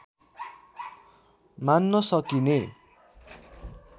मान्न सकिने